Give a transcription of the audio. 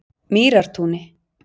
Mýrartúni